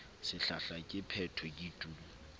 sehlahla ke phetho ke tu